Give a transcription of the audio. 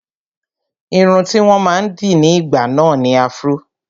Irun tí wọ́n máa ń dì ní ìgbà náà ni afro